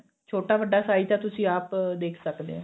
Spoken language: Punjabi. ਛੋਟਾ ਵੱਡਾ size ਤਾਂ ਤੁਸੀਂ ਆਪ ਦੇਖ ਸਕਦੇ ਓ